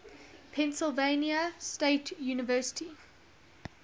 pennsylvania state university